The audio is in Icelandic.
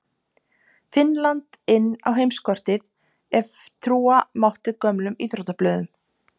Finnland inn á heimskortið ef trúa mátti gömlum íþróttablöðum.